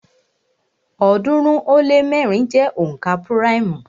ọ̀ọ́dúnrún ó lé mẹ́rin jẹ́ onka púráìmù